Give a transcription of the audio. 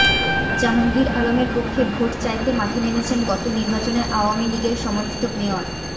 জাহাঙ্গীর আলমের পক্ষে ভোট চাইতে মাঠে নেমেছেন গত নির্বাচনে আওয়ামী লীগের সমর্থিত মেয়র